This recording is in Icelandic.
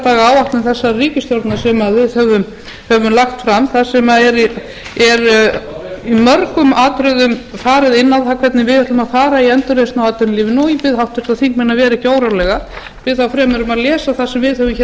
daga áætlun þessarar ríkisstjórnar sem við höfum lagt fram þar sem er í mörgum atriðum farið inn á það hvernig við ætlum að fara í endurreisn á atvinnulífinu og ég bið háttvirta þingmenn að vera ekki órólega bið þá fremur um að lesa það sem við höfum hér